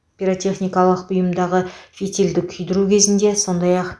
пиротехникалық бұйымдағы фитилді күйдіру кезінде сондай ақ